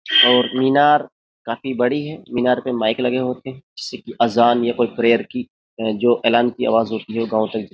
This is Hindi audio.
और मीनार काफी बड़ी है। मीनार पे माइक लगे होते हैं। की आजान या कोई प्रेयर की जो एलान की आवाज होती है वो गाँव तक --